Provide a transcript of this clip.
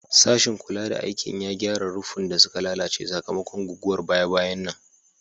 Sashin kula da aikin ya gyara ruffun da suka lalace sakamakon guguwar baya-bayan nan.